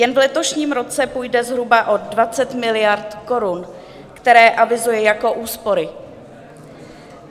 Jen v letošním roce půjde zhruba o 20 miliard korun, které avizuje jako úspory.